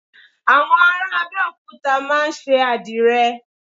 Àwọn ará Abẹ́òkúta máa ń ṣe Àdìrẹ